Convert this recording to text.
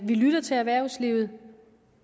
vi lytter til erhvervslivet